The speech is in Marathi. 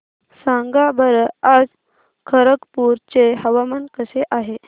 सांगा बरं आज खरगपूर चे हवामान कसे आहे